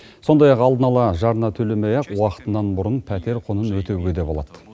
сондай ақ алдын ала жарна төлемей ақ уақытынан бұрын пәтер құнын өтеуге де болады